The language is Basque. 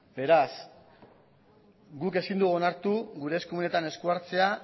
beraz guk ezin dugu onartu gure eskumenetan esku hartzea